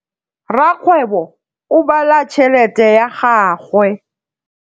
Rakgwêbô o bala tšheletê ya gagwe.